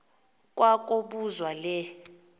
kwa kobuzwa le